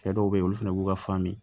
Cɛ dɔw be yen olu fɛnɛ b'u ka fan min